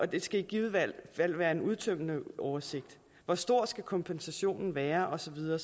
det skal i givet fald være en udtømmende oversigt hvor stor skal kompensationen være og så videre